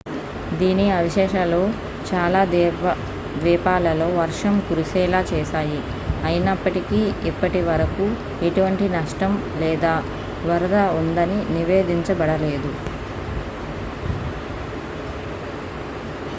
దీని అవశేషాలు చాలా ద్వీపాలలో వర్షం కురిసేలా చేశాయి అయినప్పటికీ ఇప్పటివరకు ఎటువంటి నష్టం లేదా వరద ఉందని నివేదించబడలేదు